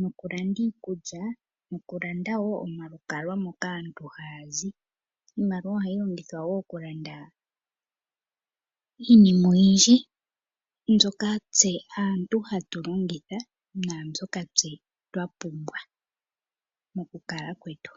nokulanda iikulya nokulanda wo omalukalwa moka aantu haya zi. Iimaliwa ohayi longithwa wo okulanda iinima oyindji mbyoka tse aantu hatu longitha naambyoka tse twa pumbwa mokukala kwetu.